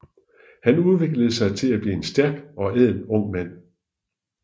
Han udviklede sig til at blive en stærk og ædel ung mand